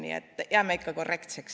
Nii et jääme ikka korrektseks.